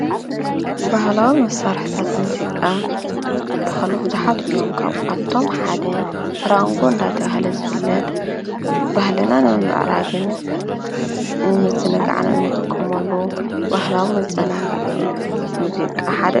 ባህላዊ መሳርሒታት ሙዚቃ ዝበሃሉ ቡዙሓት እዮም፡፡ ካብአቶም ሓደ ራንጎ እናተብሃለ ዝፍለጥ ባህሊና ንምምዕራግን ንምዝንጋዕን እንጥቀመሉ ባህላዊ መዘናግዒ ሙዚቃ ሓደ እዩ፡፡